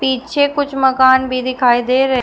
पीछे कुछ मकान भी दिखाई दे र--